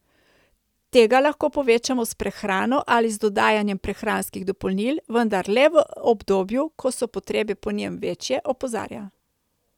Tega lahko povečamo s prehrano ali z dodajanjem prehranskih dopolnil, vendar le v obdobju, ko so potrebe po njem večje, opozarja.